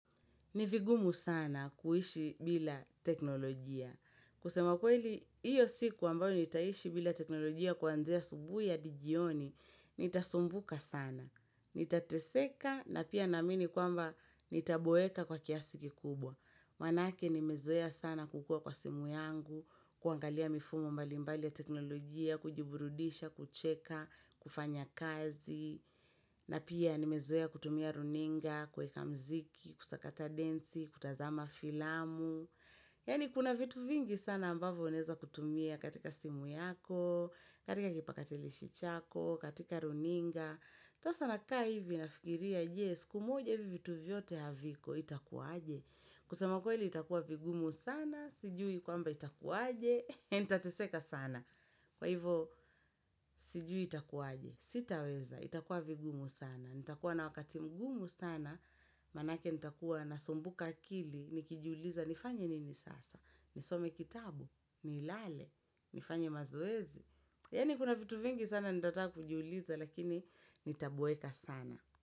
Ni vigumu sana kuishi bila teknolojia. Kusema kweli, iyo siku ambayo nitaishi bila teknolojia kuanzia asubuhi hadi jioni, nitasumbuka sana. Nitateseka na pia naamini kwamba nitaboeka kwa kiasi kikubwa. Manake nimezoea sana kukuwa kwa simu yangu, kuangalia mifumo mbalimbali ya teknolojia, kujiburudisha, kucheka, kufanya kazi. Na pia nimezoea kutumia runinga, kuweka mziki, kusakata densi, kutazama filamu. Yaani kuna vitu vingi sana ambavo unaeza kutumia katika simu yako, katika kipakatilishi chako, katika runinga yako Sasa nakaa hivi nafikiria, je, siku moja hivi vitu vyote haviko itakuaje. Kusema kweli itakuwa vigumu sana, sijui kwamba itakuaje, ntateseka sana. Kwa hivo, sijui itakuwaje, sitaweza, itakuwa vigumu sana, nitakuwa na wakati mgumu sana, manake nitakuwa nasumbuka akili, nikijiuliza, nifanye nini sasa, nisome kitabu, nilale, nifanye mazoezi, yaani kuna vitu vingi sana nitata kujiuliza, lakini nitaboeka sana.